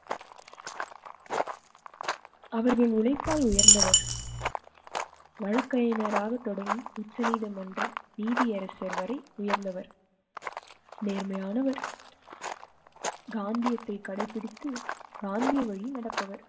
அவரது உழைப்பால் உயர்ந்தவர் வழக்கறிஞராக தொடங்கி உச்சநீதிமன்ற நீதியரசர் வரை உயர்ந்தவர். நேர்மையானவர். காந்தியத்தை கடைப்பிடித்து காந்திய வழியில் நடப்ப வர்.